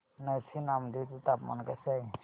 नरसी नामदेव चे तापमान कसे आहे